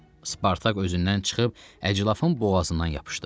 Spartak özündən çıxıb əclafın boğazından yapışdı.